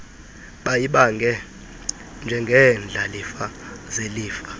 bayibange njengeendlalifa zelifa